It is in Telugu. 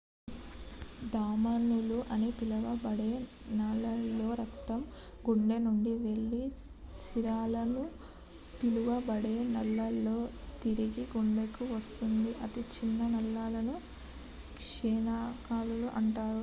ధమనులు అని పిలువబడే నాళాలలో రక్తం గుండె నుండి వెళ్లి సిరలు అని పిలువబడే నాళాలలో తిరిగి గుండెకు వస్తుంది అతి చిన్న నాళాలను కేశనాళికలు అంటారు